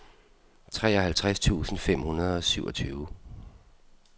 treoghalvtreds tusind fem hundrede og syvogtyve